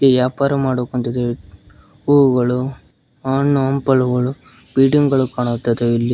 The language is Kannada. ವ್ಯಾಪಾರ ಮಾಡೋಕಂತ ಹೂವುಗಳು ಹಣ್ಣು ಹಂಪಲುಗಳು ಬಿಲ್ಡಿಂಗ್ ಗಳು ಕಾಣುತ್ತಾ ಇದಾವೆ ಇಲ್ಲಿ.